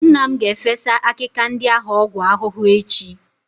Nna m ga-efesa akịka ndị ahụ ọgwụ ahụhụ echi.